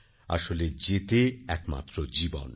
আসলে জেতে একমাত্র জীবন